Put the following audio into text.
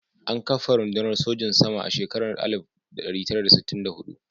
An kafa rundunar sojin sama a shekarar 1964.